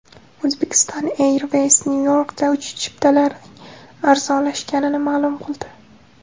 Uzbekistan Airways Nyu-Yorkka uchish chiptalarining arzonlashganini ma’lum qildi.